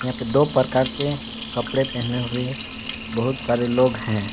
यहां पे दो प्रकार के कपड़े पहने हुए बहुत सारे लोग हैं।